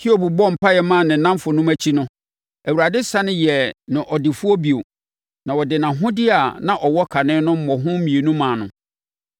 Hiob bɔɔ mpaeɛ maa ne nnamfonom akyi no, Awurade sane yɛɛ no ɔdefoɔ bio na ɔde nʼahodeɛ a na ɔwɔ kane no mmɔho mmienu maa no.